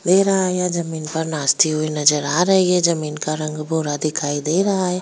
दे रहा है या जमीन पर नाचती हुई नजर आ रही है जमीन का रंग बूरा दिखाई दे रहा है।